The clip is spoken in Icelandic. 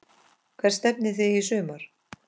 Hvert stefnið þið í sumar?